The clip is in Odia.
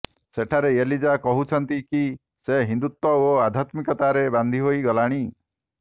ସେଠାରେ ଏଲିଜା କହୁଛନ୍ତି କି ସେ ହିନ୍ଦୁତ୍ୱ ଓ ଅଧ୍ୟାତ୍ମିକତାରେ ବାନ୍ଧି ହୋଇ ଗଲାଣି